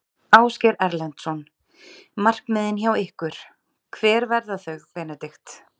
Ásgeir Erlendsson: Markmiðin hjá ykkur, hver verða þau Benedikt?